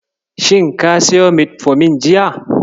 Shin ka siyo Metfomin jiya?